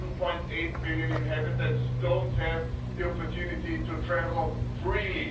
1.8 million inhabitants, don't have the opportunity to travel freely.